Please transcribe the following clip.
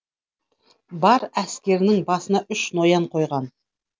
бар әскерінің басына үш ноян қойған